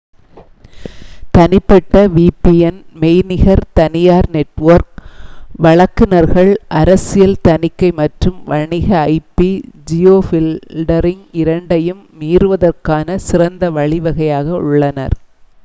தனிப்பட்ட vpn மெய்நிகர் தனியார் நெட்வொர்க் வழங்குநர்கள் அரசியல் தணிக்கை மற்றும் வணிக ip-ஜியோஃபில்டரிங் இரண்டையும் மீறுவதற்கான சிறந்த வழிவகையாக உள்ளனர்